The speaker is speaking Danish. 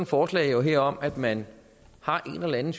forslag her om at man har en eller anden